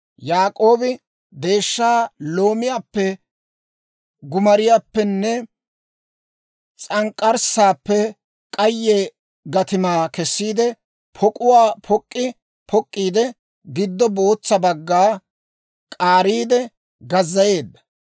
Yaak'oobi deeshsha loomiyaappe, gumariyaappenne s'ank'k'arssaappe k'ayye gatimaa kessiide, pok'uwaa pok'k'i pok'k'iide, giddo bootsa bagga k'aariide gazzayeedda.